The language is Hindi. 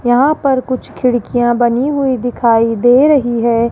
यहां पर कुछ खिड़कियां बनी हुई दिखाई दे रही है।